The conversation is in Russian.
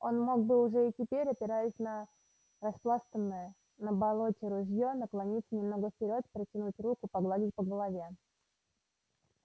он мог бы уже и теперь опираясь на распластанное на болоте ружье наклониться немного вперёд протянуть руку погладить по голове